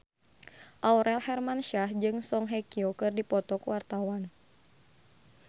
Aurel Hermansyah jeung Song Hye Kyo keur dipoto ku wartawan